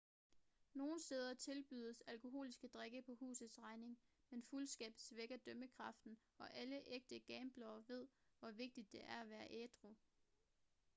nogle steder tilbydes alkoholiske drikke på husets regning men fuldskab svækker dømmekraften og alle ægte gamblere ved hvor vigtigt det er at være ædru